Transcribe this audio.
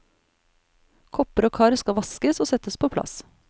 Kopper og kar skal vaskes og settes på plass.